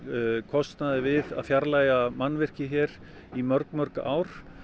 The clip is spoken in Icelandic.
kostnaði við að fjarlægja mannvirki hér í mörg mörg ár